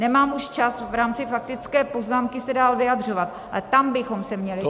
Nemám už čas v rámci faktické poznámky se dál vyjadřovat, ale tam bychom se měli -